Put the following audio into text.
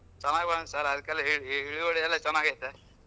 ಚನ್ನಾಗ್ ಬಂದೈತ್ sir ಅದ್ಕಲೆ ಹೇಳಿ ಇಳುವಳಿ ಎಲ್ಲಾ ಚನಾಗೈತೆ.